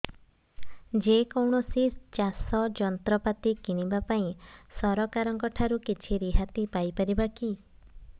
ଯେ କୌଣସି ଚାଷ ଯନ୍ତ୍ରପାତି କିଣିବା ପାଇଁ ସରକାରଙ୍କ ଠାରୁ କିଛି ରିହାତି ପାଇ ପାରିବା କି